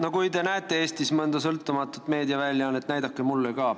No kui te teate Eestis mõnda sõltumatut meediaväljaannet, siis öelge mulle ka.